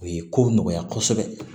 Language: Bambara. U ye kow nɔgɔya kosɛbɛ